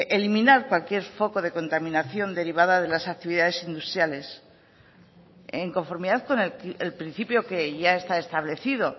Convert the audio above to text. eliminar cualquier foco de contaminación derivada de las actividades industriales en conformidad con el principio que ya está establecido